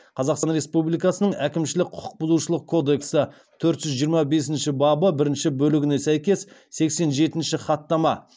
қазақстан республикасының әкімшілік құқықбұзушылық кодексі төрт жүз жиырма бесінші бабы бірінші бөлігіне сәйкес сексен жетінші хаттама